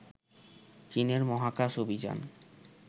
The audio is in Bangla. চীনের মহাকাশ অভিযান